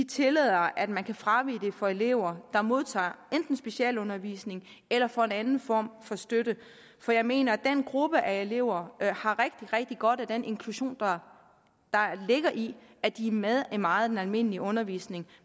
tillader at man kan fravige det krav for elever der modtager enten specialundervisning eller får en anden form for støtte for jeg mener at den gruppe af elever har rigtig rigtig godt af den inklusion der ligger i at de er med i meget af den almindelige undervisning